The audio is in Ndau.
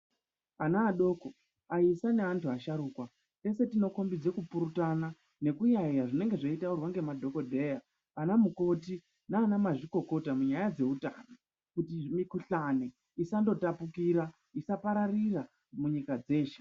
Ana adoko, aisa neantu asharuka, teshe tinokombidza kupurutana nekuyaiya zveinenge zveitaurwa ngemadhokodheya anamukoti naanamazvikokota munyaya dzeutano kuti mukhuhlani isandotapukira, isapararira munyika dzeshe.